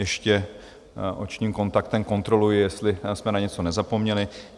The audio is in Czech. Ještě očním kontaktem kontroluji, jestli jsme na něco nezapomněli?